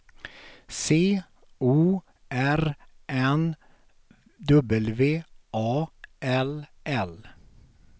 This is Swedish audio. C O R N W A L L